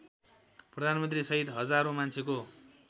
प्रधानमन्त्रीसहित हजारौँ मान्छेको